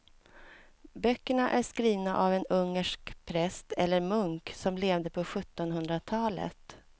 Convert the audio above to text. Böckerna är skrivna av en ungersk präst eller munk som levde på sjuttonhundratalet.